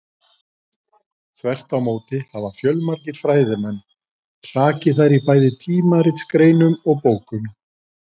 Þvert á móti hafa fjölmargir fræðimenn hrakið þær í bæði tímaritsgreinum og bókum.